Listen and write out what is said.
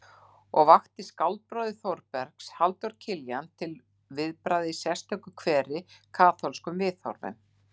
Og vakti skáldbróður Þórbergs, Halldór Kiljan, til viðbragða í sérstöku kveri: Kaþólskum viðhorfum.